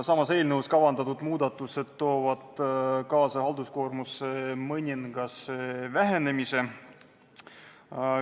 Selles eelnõus kavandatud muudatused toovad kaasa halduskoormuse mõningase vähenemise.